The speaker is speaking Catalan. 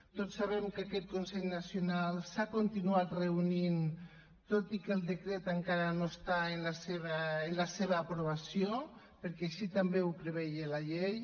tots sabem que aquest consell nacional s’ha continuat reunint tot i que el decret encara no està en la seva aprovació perquè així també ho preveia la llei